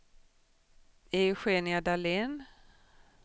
Eugenia Dahlén